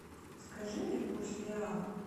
скажи мне курс реала